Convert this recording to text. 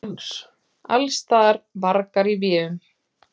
Allsstaðar: vargar í véum.